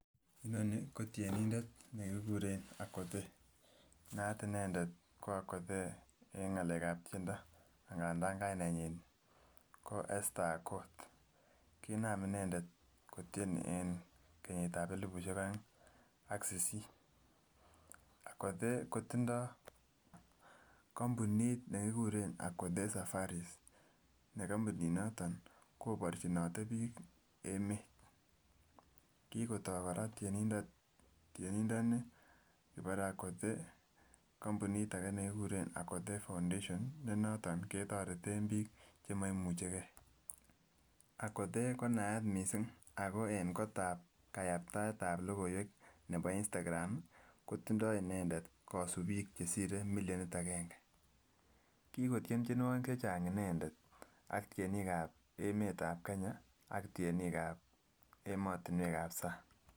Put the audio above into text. Inoni ko tyenindet nekikuren Akothee naat inendet ko Akothee en ngalek ab tyendok ingandan kainenyin ko Esther Akoth kinam inendet kotyen en keyit ab elibushek oeng ak sisit. Akothee kotindo kompunit nekikuren Akothee safaris ne kompunit noton koborchinote bik emet kikotoo koraa tyenindet tyenindoni kibore Akothee kompunit ake nekikuren Akothee foundation ne noton ketoreten bik chemoimuche gee. Akothee ko naat kot missing ako en kotab kayaktaet ab lokoiwek nebo nstagram kotindo inendet kosubik chesire milionit agenge, kikotyen tyenuoki chechang inendet ak tyenik ab emet ab kenya ak tyenik ab emotinwek ab sang.